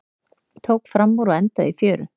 Tók framúr og endaði í fjöru